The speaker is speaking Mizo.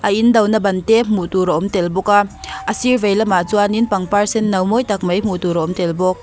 in do na ban te hmuh tur a awm tel bawk a a sir vei lamah chuanin pangpar senno mawi tak mai hmuh tur a awm tel bawk.